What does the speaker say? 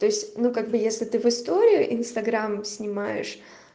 то есть ну как бы если ты в историю инстаграм снимаешь